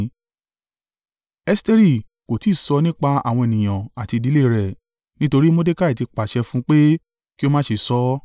Esteri kò tí ì sọ nípa àwọn ènìyàn àti ìdílé e rẹ̀, nítorí Mordekai ti pàṣẹ fún un pé kí ó má ṣe sọ ọ́.